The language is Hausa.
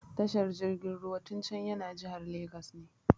Tashar jirgin ruwan Tincan yana jihar Lagos ne.